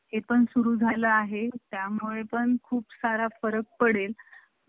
हां customer आलंय customer